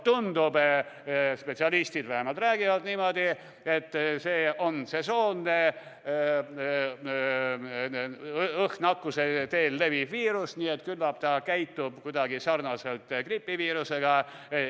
Tundub – vähemalt spetsialistid räägivad niimoodi –, et see on sesoonne õhknakkuse teel leviv viirus, nii et küllap ta käitub sarnaselt gripiviirusega.